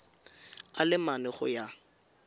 a le mane go ya